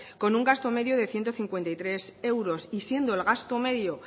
con un gasto medio de ciento cincuenta y tres euros y siendo el gasto medio